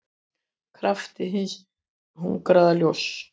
kraft hins hungraða ljóns.